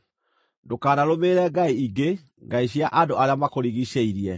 Ndũkanarũmĩrĩre ngai ingĩ, ngai cia andũ arĩa makũrigiicĩirie;